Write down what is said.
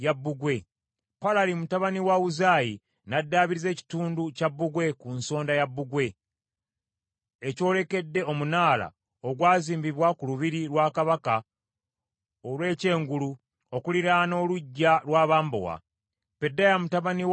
Palali mutabani wa Uzayi n’addaabiriza ekitundu kya bbugwe ku nsonda ya bbugwe, ekyolekedde omunaala ogwazimbibwa ku lubiri lwa kabaka olw’ekyengulu okuliraana oluggya lw’abambowa. Pedaya mutabani wa Palosi